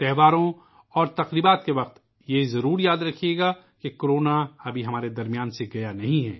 تیوہاروں اور جشن کے دور میں، آپ کو یہ یاد رکھنا ہے کہ کورونا ہمارے درمیان سے رخصت نہیں ہوا